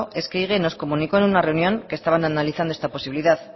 es que ehige nos comunicó en una reunión que estaban analizando esta posibilidad